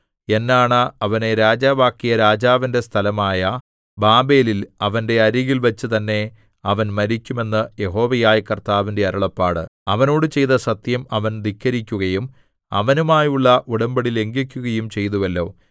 എന്നാണ അവനെ രാജാവാക്കിയ രാജാവിന്റെ സ്ഥലമായ ബാബേലിൽ അവന്റെ അരികിൽ വച്ചു തന്നെ അവൻ മരിക്കും എന്ന് യഹോവയായ കർത്താവിന്റെ അരുളപ്പാട് അവനോട് ചെയ്ത സത്യം അവൻ ധിക്കരിക്കുകയും അവനുമായുള്ള ഉടമ്പടി ലംഘിക്കുകയും ചെയ്തുവല്ലോ